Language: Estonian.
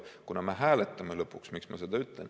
Miks ma seda ütlen?